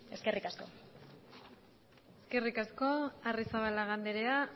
eskerrik asko eskerrik asko arrizabalaga andrea